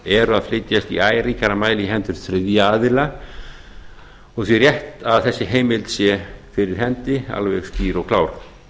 eru að flytjast í æ ríkara mæli í hendur þriðja aðila og því rétt að þessi heimild sé fyrir hendi alveg skýr og klár